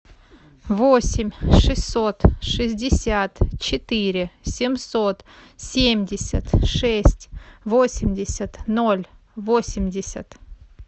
восемь шестьсот шестьдесят четыре семьсот семьдесят шесть восемьдесят ноль восемьдесят